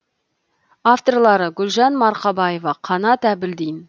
авторлары гүлжан марқабаева қанат әбілдин